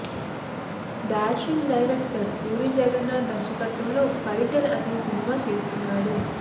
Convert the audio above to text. dashing director Puri Jagannadh దర్శకత్వంలో Fighter అనే సినిమా చేస్తున్నాడు